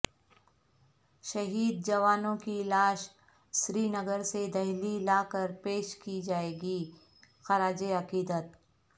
شہید جوانوں کی لاش سری نگرسے دہلی لاکر پیش کی جائے گی خراج عقیدت